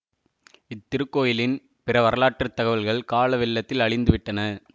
இத்திருக்கோயிலின் பிற வரலாற்று தகவல்கள் காலவெள்ளத்தில் அழிந்து விட்டன